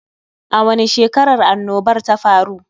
A wani shekarar annobar ta faru?